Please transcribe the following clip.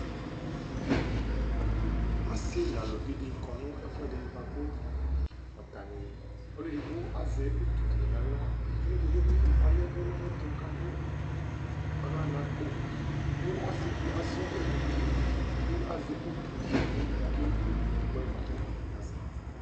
Ɔsi nu aluʋi ɖi kɔ nu ɛfuɛɖi buaku atani, ɔlù eɖigbo azɛ utu ɖi nu aɣla Ɔlu eɖigbo bi ɔyɛʋu nu ayɛtu, ku aɖu aɣla nu akpó Ku ɔsiɖi asa ɔwlɛ nu ũtí, ku azɛ utu ɖi, ku oke wu ɛkuyɛ buaku atani azɛ